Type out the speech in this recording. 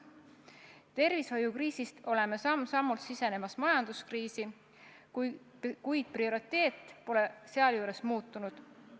Oleme tervishoiukriisist samm-sammult sisenemas majanduskriisi, kuid prioriteet pole seejuures muutunud.